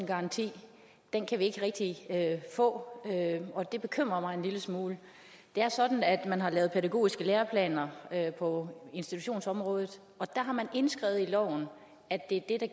garanti kan vi ikke rigtig få og det bekymrer mig en lille smule det er sådan at man har lavet pædagogiske læreplaner på institutionsområdet og der har man indskrevet i loven at det er det